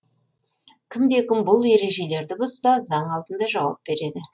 кімде кім бұл ережелерді бұзса заң алдында жауап береді